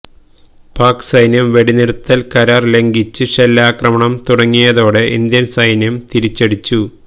പാക് സൈന്യം വെടിനിര്ത്തല് കരാര് ലംഘിച്ച് ഷെല്ലാക്രമണം തുടങ്ങിയതതോടെ ഇന്ത്യന് സൈന്യം തിരിച്ചടിച്ചു